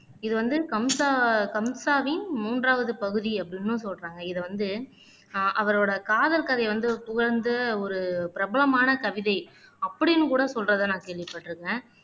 இது வந்து கம்ஸா கம்ஸாவின் மூன்றாவது பகுதி அப்படின்னும் சொல்றாங்க இதை வந்து ஆஹ் அவரோட காதல் கதைய வந்து புகழ்ந்து ஒரு பிரபலமான கவிதை அப்படின்னு கூட சொல்றதை நான் கேள்விப்பட்டிருக்கிறேன்